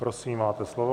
Prosím, máte slovo.